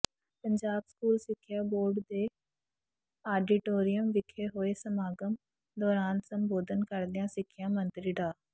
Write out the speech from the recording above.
Punjab school ਸਿੱਖਿਆ board ਦੇ auditorium ਵਿਖੇ ਹੋਏ ਸਮਾਗਮ ਦੌਰਾਨ ਸੰਬਧੋਨ ਕਰਦਿਆਂ ਸਿੱਖਿਆ ਮੰਤਰੀ ਡਾ